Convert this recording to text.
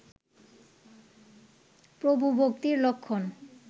প্রভুভক্তির লক্ষণ